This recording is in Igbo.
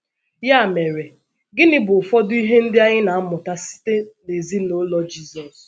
Ya mere, gịnị bụ ụfọdụ ihe ndị anyị na - amụta site n’ezinụlọ Jizọs?